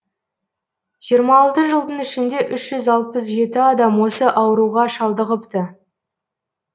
жиырма алты жылдың ішінде үш жүз алпыс жеті адам осы ауруға шалдығыпты